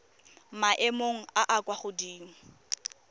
maemong a a kwa godimo